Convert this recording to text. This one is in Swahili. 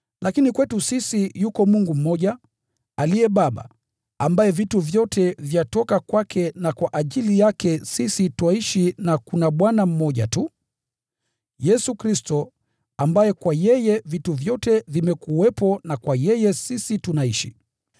kwetu sisi yuko Mungu mmoja, aliye Baba, ambaye vitu vyote vyatoka kwake na kwa ajili yake sisi twaishi; na kuna Bwana mmoja tu, Yesu Kristo, ambaye kwa yeye vitu vyote vimekuwepo na kwa yeye tunaishi.